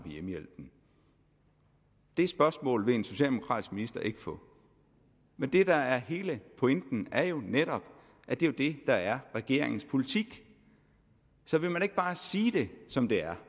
hjemmehjælpen det spørgsmål vil en socialdemokratisk minister ikke få men det der er hele pointen er jo netop at det er det der er regeringens politik så vil man ikke bare sige det som det er